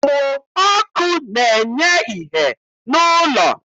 Mmụ ọkụ na-enye ìhè n'ụlọ